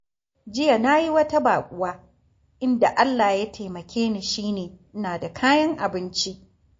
Jiya na yi wata baƙuwa, inda Allah ya taimake ni shi ne, ina da kayan abinci